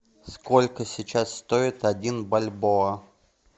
сколько сейчас стоит один бальбоа